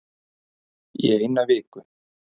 Í eina viku